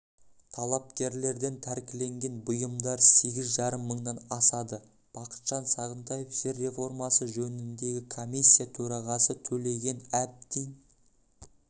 талапкерлерден тәркіленген бұйымдар сегіз жарым мыңнан асады бақытжан сағынтаев жер реформасы жөніндегі комиссия төрағасы төлеген әбдин